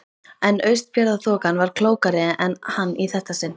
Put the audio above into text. En Austfjarðaþokan var klókari en hann í þetta sinn.